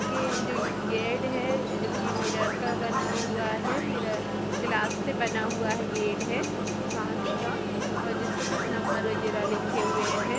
गे जो ये गेट है जो की मिरर का बना हुआ है मिरर ग्लास से बना हुआ है गेट है कांच काऔर जिस पर कुछ नंबर वगैरह लिखे हुए हैं।